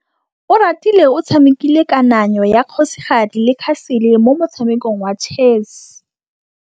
Oratile o tshamekile kananyô ya kgosigadi le khasêlê mo motshamekong wa chess.